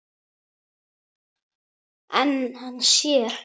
En hann sér.